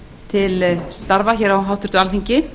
til starfa á háttvirtu alþingi